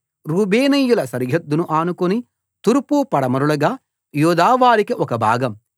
రూబేనీయుల సరిహద్దును ఆనుకుని తూర్పు పడమరలుగా యూదావారికి ఒక భాగం